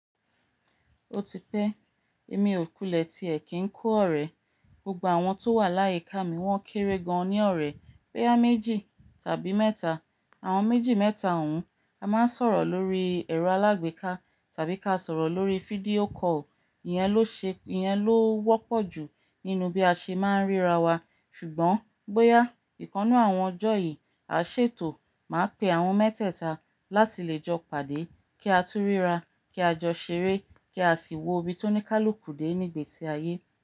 Ó ti pẹ́, èmi ò kulẹ̀ tí ẹ̀ kì ń kó ọ̀rẹ́. Gbogbo àwọn tó wà láyé ká mi wọ́n kéré gan-an ní ọ̀rẹ́. Boya méjì tàbí mẹ́ta. Àwọn méjì mẹ́ta òun, a máa ń sọ̀rọ̀ lórí ẹ̀rọ alágbèéká tàbí ká sọ̀rọ̀ lórí fídíò call. Ìyẹn ló ṣe, Ìyẹn ló wọ́pọ̀ jù nínú bí a ṣe máa ń ríra wa. Ṣùgbọ́n bóyá ìkannú àwọn ọjọ́ yìí, a ṣètò máa pe àwọn mẹ́tẹ̀ta láti lè jọ pàdé kí á tún ríra, kí á jọ ṣeré kí a sì wo ibi tó ní ká lò kù dé ní gbèsè ayé.